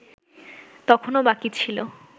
তখনো বাকি ছিল